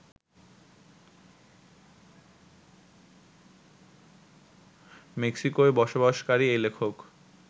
মেক্সিকোয় বসবাসকারী এই লেখক